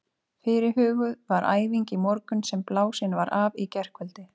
Fyrirhuguð var æfing í morgun sem blásin var af í gærkvöldi.